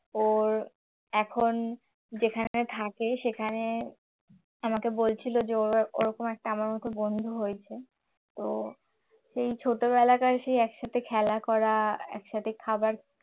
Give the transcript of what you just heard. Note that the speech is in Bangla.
ওর এখন যেখানে থাকে সেখানে আমাকে বলছিল যে ওরকম একটা আমার মত বন্ধু হয়েছে তো সেই ছোটবেলাকার একসাথে খেলা করা একসাথে খাবার